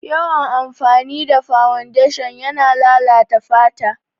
Yawan amfani da fawundeshin yana lalata fata